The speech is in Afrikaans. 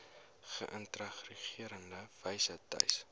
geïntegreerde wyse tuis